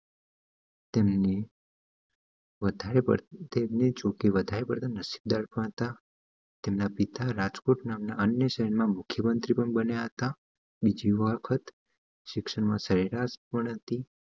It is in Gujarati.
તેમના તેમના પિતા રાજકોટ નામ ના અન્ય શહેર ના મુખ્ય મંત્રી પણ બન્યા હતા બીજી વખત સિક્ષણ માં સરેરાસ પણ હતી